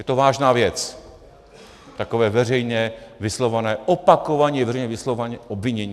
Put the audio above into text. Je to vážná věc, takové veřejně vyslovované, opakovaně veřejně vyslovované obvinění.